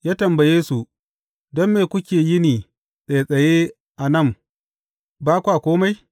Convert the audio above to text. Ya tambaye su, Don me kuke yini tsattsaye a nan ba kwa kome?’